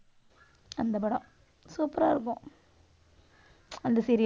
அந்தப் படம் super ஆ இருக்கும் அந்த serial